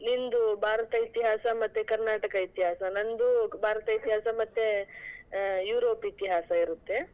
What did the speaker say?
ನಿಂದು ಭಾರತ ಇತಿಹಾಸ ಮತ್ತೆ ಕರ್ನಾಟಕ ಇತಿಹಾಸ ನಂದು ಭಾರತ ಇತಿಹಾಸ ಮತ್ತೆ ಆ ಯೂರೋಪ್ ಇತಿಹಾಸ ಇರುತ್ತೆ.